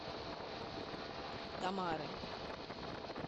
тамары